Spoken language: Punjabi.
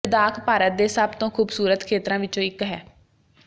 ਲੱਦਾਖ ਭਾਰਤ ਦੇ ਸਭ ਤੋਂ ਖੂਬਸੂਰਤ ਖੇਤਰਾਂ ਵਿੱਚੋਂ ਇੱਕ ਹੈ